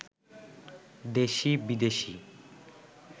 দেশি-বিদেশি